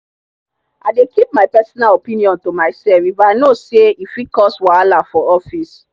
i dey keep my personal opinion to myself if i know say e fit cause wahala for office.